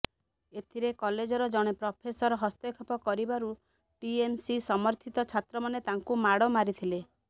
ଏଥିରେ କଲେଜର ଜଣେ ପ୍ରଫେସର ହସ୍ତକ୍ଷେପ କରିବାରୁ ଟିଏମସି ସମର୍ଥିତ ଛାତ୍ରମାନେ ତାଙ୍କୁ ମାଡ଼ ମାରିଥିଲେ